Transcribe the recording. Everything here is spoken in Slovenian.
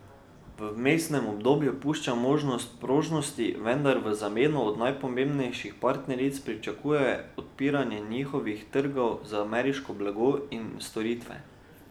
V vmesnem obdobju pušča možnost prožnosti, vendar v zameno od najpomembnejših partneric pričakuje odpiranje njihovih trgov za ameriško blago in storitve.